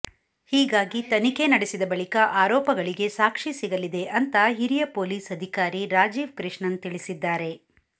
ಹೀಗಾಗಿ ತನಿಖೆ ನಡೆಸಿದ ಬಳಿಕ ಆರೋಪಗಳಿಗೆ ಸಾಕ್ಷಿ ಸಿಗಲಿದೆ ಅಂತ ಹಿರಿಯ ಪೊಲೀಸ್ ಅಧಿಕಾರಿ ರಾಜೀವ್ ಕೃಷ್ಣನ್ ತಿಳಿಸಿದ್ದಾರೆ